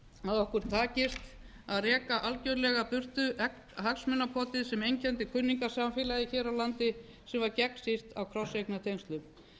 að okkur takist að reka algerlega burtu hagsmunapotið sem einkenndi kunningjasamfélagið hér á landi sem var gegnsýrt af krosseignatengslum